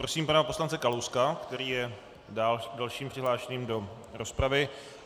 Prosím pana poslance Kalouska, který je dalším přihlášeným do rozpravy.